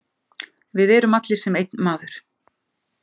Við erum allir sem einn maður.